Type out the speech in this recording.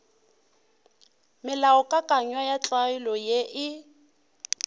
melaokakanywa ya tlwaelo ye e